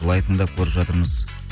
былай тыңдап көріп жатырмыз